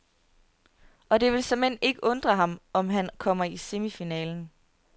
Og det vil såmænd ikke undre ham, om han kommer i semifinalen.